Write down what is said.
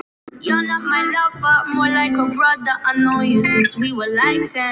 Hún pírir á mig augun.